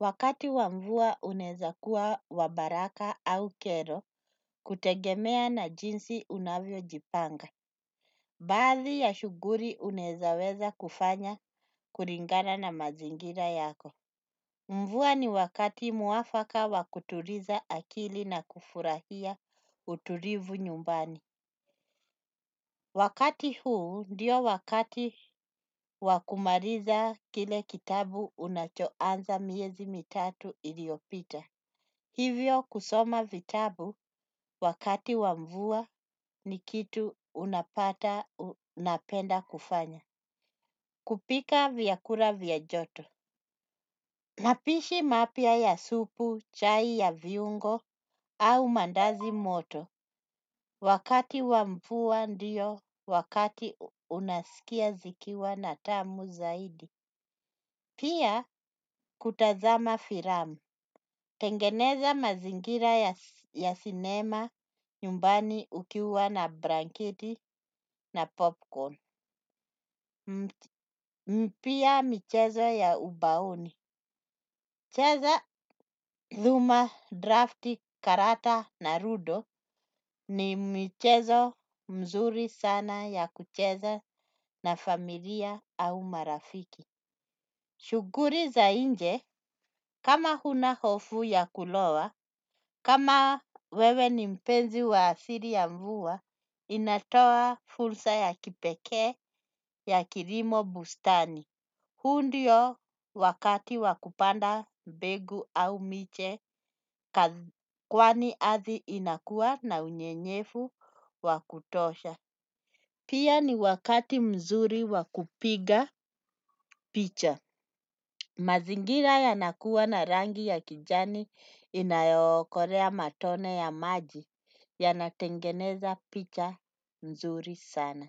Wakati wa mvua unaeza kuwa wa baraka au kero kutegemea na jinsi unavyojipanga. Baadhi ya shuguri unaeza weza kufanya kuringana na mazingira yako. Mvua ni wakati mwafaka wa kuturiza akili na kufurahia uturivu nyumbani. Wakati huu ndio wakati wa kumariza kile kitabu unachoanza miezi mitatu iliopita. Hivyo kusoma vitabu wakati wa mvua ni kitu unapata napenda kufanya. Kupika vyakura vya joto. Mapishi mapya ya supu, chai ya viungo au mandazi moto. Wakati wa mvua ndiyo wakati unaskia zikiwa na tamu zaidi. Pia kutazama firamu. Tengeneza mazingira ya sinema nyumbani ukiwa na branketi na popcorn. Mpia michezo ya ubaoni. Cheza dhuma drafti karata na rudo ni michezo mzuri sana ya kucheza na familia au marafiki. Shuguri za inje, kama hunahofu ya kulowa, kama wewe ni mpenzi wa asiri ya mvua, inatoa fulsa ya kipekee ya kirimo bustani. Huu ndio wakati wa kupanda mbegu au miche, kwani athi inakua na unyenyefu wa kutosha. Pia ni wakati mzuri wakupiga picha. Mazingira yanakuwa na rangi ya kijani, inayookorea matone ya maji, yanatengeneza picha nzuri sana.